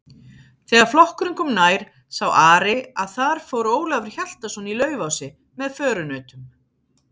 Þegar flokkurinn kom nær sá Ari að þar fór Ólafur Hjaltason í Laufási með förunautum.